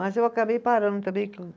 Mas eu acabei parando também.